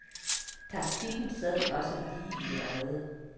Taktikken sad også lige i øjet.